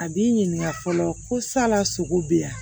A b'i ɲininka fɔlɔ ko sala sogo bɛ yan